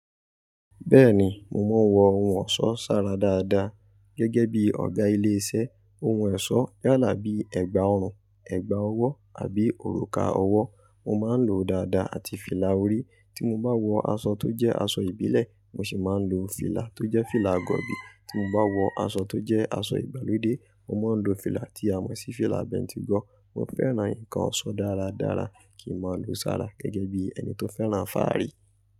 Bẹ́ẹ̀ni, mo mọ wọ ohun ọ̀ṣọ́ sára dáadáa gẹ́gẹ́ bí Ọ̀gá ilé iṣẹ́. Ohun ọ̀ṣọ́ yálà bí ẹ̀gbà ọrùn, ẹ̀gbà ọwọ́ àbí òrùka ọwọ́. Mo máa ń lò ó dáadáa àti fìlà orí. Tí mo bá wọ aṣọ tó jẹ́ aṣọ ìbílẹ̀, mo sì máa ń lo fìlà tó jẹ́ fìlà gọ̀bi. Tí mo bá wọ aṣọ tó jẹ́ aṣọ ìgbàlódé, mo máa ń lo fìlà tí a mọ̀ sí fìlà bentigọ̀ọ́. Mo fẹ́ràn nǹkan ọ̀ṣọ́ dáradára, kì í máa ń lo sára gẹ́gẹ́ bí ẹni tó fẹ́ràn fààrí.